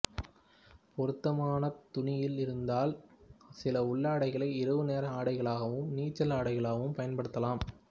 பொருத்தமானத் துணியில் இருந்தால் சில உள்ளாடைகளை இரவுநேர ஆடைகளாகவும் நீச்சல் ஆடைகளாகவும் பயன்படுத்தலாம்